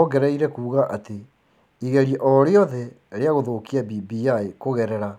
Ongereire kuuga atĩ igeria o rĩothe rĩa gũthũkia BBI kũgerera